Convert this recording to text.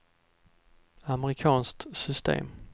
amerikanskt system